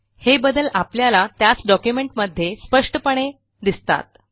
हे बदल आपल्याला त्याच डॉक्युमेंटमध्ये स्पष्टपणे दिसतात